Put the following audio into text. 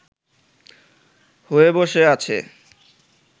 হয়ে বসে আছে